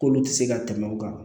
K'olu tɛ se ka tɛmɛ u kan